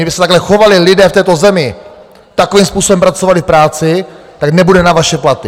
Kdyby se takhle chovali lidé v této zemi, takovým způsobem pracovali v práci, tak nebude na vaše platy.